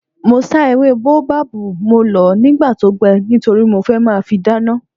Mo sá ewé bóábábù, mo lọ̀ọ́ nígbà tó gbẹ nítorí mo fẹ́ máa fi dáná